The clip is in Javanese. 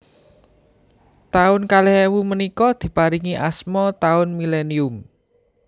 Taun kalih ewu menika diparingi asma taun millenium